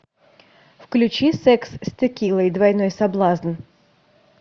включи секс с текилой двойной соблазн